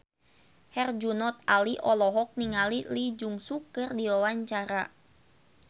Herjunot Ali olohok ningali Lee Jeong Suk keur diwawancara